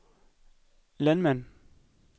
landmænd